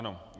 Ano.